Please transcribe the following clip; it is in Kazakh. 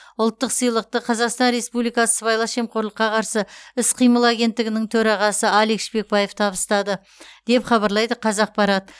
ұлттық сыйлықты қазақстан республикасы сыбайлас жемқорлыққа қарсы іс қимыл агенттігінің төрағасы алик шпекбаев табыстады деп хабарлайды қазақпарат